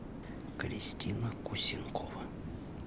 кристина кусенкова